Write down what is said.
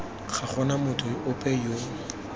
ga gona motho ope yo